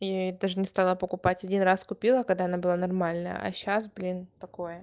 я ей даже не стала покупать один раз купила когда она была нормальная а сейчас блин такое